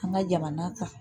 An ka jamana kan